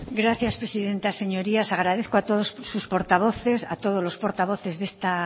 gracias presidenta señorías agradezco a todos sus portavoces a todos los portavoces de esta